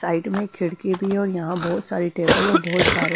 Side में खिड़की भी है। और यहां बहुत सारी टेबल और बहुत सारी--